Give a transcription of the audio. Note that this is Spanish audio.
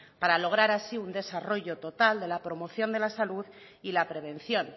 para lograr así un desarrollo total de la promoción de la salud y la prevención